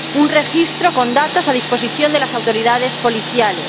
un registro con datos a disposición de las autoridades policiales.